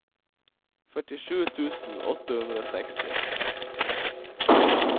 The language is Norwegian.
førtisju tusen åtte hundre og seksti